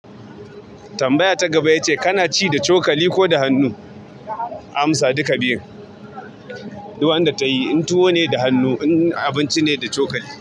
Tambaya ta gaba ita ce kana ci da cokali ko da hannu? Amsa duka biyun. Duk wanda tayi in tuwo ne da hannu, in abinci ne da cokali.